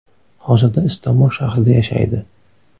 Hozirda Istanbul shahrida yashaydi.